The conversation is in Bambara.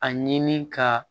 A ɲini ka